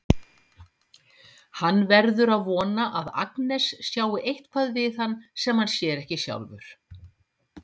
Hann verður að vona að Agnes sjái eitthvað við hann sem hann sér ekki sjálfur.